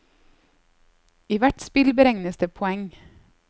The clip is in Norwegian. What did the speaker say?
I hvert spill beregnes det poeng.